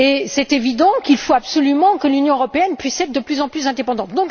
C'est évident, il faut absolument que l'Union européenne puisse être de plus en plus indépendante.